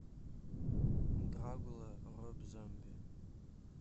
драгула роб зомби